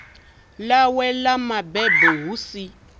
ḽawe ḽa mabebo hu si